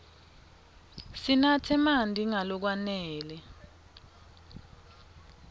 sinatse marti nga lokwanele